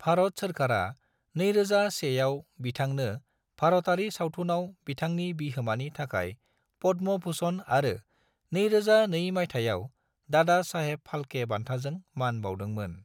भारत सोरखारा 2001आव बिथांनो भारतारि सावथुनाव बिथांनि बिहोमानि थाखाय पद्म भूषण आरो 2002 मायथाइआव दादा साहेब फाल्के बान्थाजों मान बाउदोंमोन।